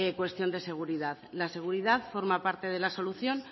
cuestión de seguridad la seguridad forma parte de la solución